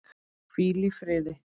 Hvíl í fríði.